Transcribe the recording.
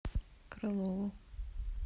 крылову